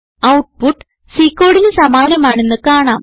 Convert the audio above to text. output C കോഡിന് സമാനമാണെന്ന് കാണാം